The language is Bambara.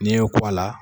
N'i y'o k'a la